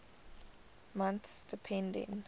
months depending